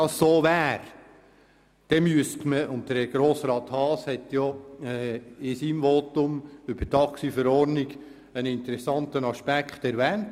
Grossrat Haas hat in seinem Votum über die Taxiverordnung einen interessanten Aspekt erwähnt.